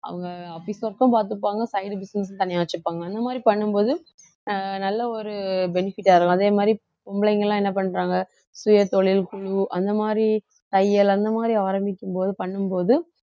அவுங்க அப்படி பார்த்துப்பாங்க side business தனியா வச்சுப்பாங்க அந்த மாதிரி பண்ணும் போது அஹ் நல்ல ஒரு benefit ஆ இருக்கும் அதே மாதிரி பொம்பளைங்க எல்லாம் என்ன பண்றாங்க சுயதொழில் அந்த மாதிரி தையல் அந்த மாதிரி ஆரம்பிக்கும்போது பண்ணும் போது